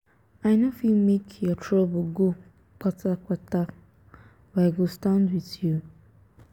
i no fit make your trouble go kpata kpata but i go stand wit you.